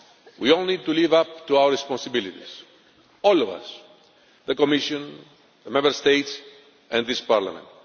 We all need to live up to our responsibilities all of us the Commission, the Member States and this Parliament.